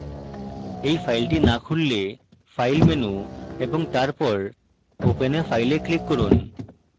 এই file না খুললে file menu এবং তারপর open a file a click করুন